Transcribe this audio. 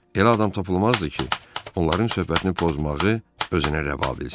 Elə adam tapılmazdı ki, onların söhbətini pozmağı özünə rəva bilsin.